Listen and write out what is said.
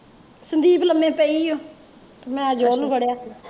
ਸੰਦੀਪ ਲਬੇ ਪਈ ਓ ਮੈਂ ਅਜੋਲ ਨੂੰ ਫ਼ੜਿਆ